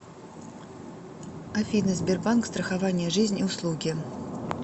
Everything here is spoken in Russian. афина сбербанк страхование жизни услуги